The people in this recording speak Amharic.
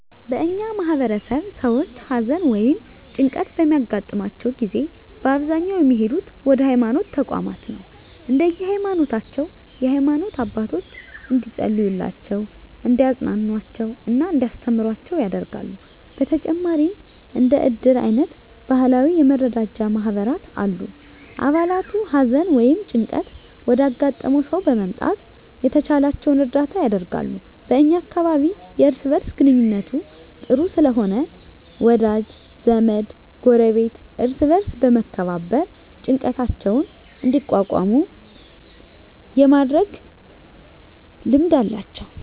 በእኛ ማህበረሰብ ሰዎች ሀዘን ወ ይም ጭንቀት በሚያገጥማቸው ጊዜ በአብዛኛው የሚሄዱት ወደ ሀይማኖት ተቋማት ነው። እንደየ ሀይማኖታቸው የሃይማኖት አባቶች እንዲፀልዩላቸው፣ እንዲያፅናኑአቸው እና እንዲያስተምሩአቸው ያደርጋሉ። በተጨማሪም እንደ እድር አይነት ባህላዊ የመረዳጃ ማህበራት አሉ። አባላቱ ሀዘን ወይም ጭንቀት ወዳጋጠመው ሰው በመምጣት የተቻላቸውን እርዳታ ያደርጋሉ። በ እኛ አካባቢ የእርስ በእርስ ግንኙነቱ ጥሩ ስለሆነ ወዳጅ ዘመድ፣ ጎረቤት እርስ በእርስ በመመካከር ጭንቀታቸውን እንዲቋቋሙ የማድረግ ልማድ አላቸው።